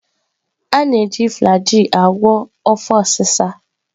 Ana-e ji flajil a gwo afọ osi sa.